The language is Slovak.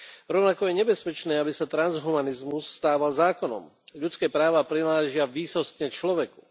Rovnako je nebezpečné, aby sa transhumanizmus stával zákonom. Ľudské práva prináležia výsostne človeku.